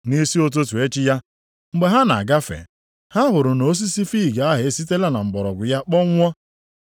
Nʼisi ụtụtụ echi ya, mgbe ha na-agafe, ha hụrụ na osisi fiig a esitela na mgbọrọgwụ ya kpọnwụọ.